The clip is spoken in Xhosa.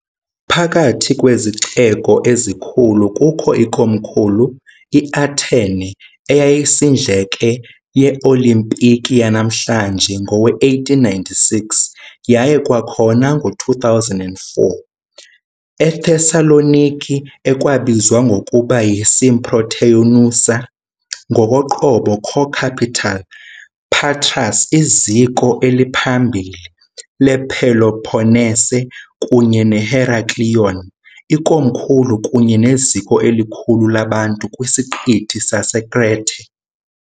Phakathi kwezixeko ezikhulu kukho ikomkhulu, iAthene, eyayisindleke yeeOlimpiki yanamhlanje ngowe-1896 yaye kwakhona ngo-2004, eThessaloniki, ekwabizwa ngokuba yiSymprōteyousa, ngokoqobo - "co-capital", Patras, iziko eliphambili lePeloponnese, kunye neHeraklion, ikomkhulu kunye neziko elikhulu labantu kwisiqithi saseKrete.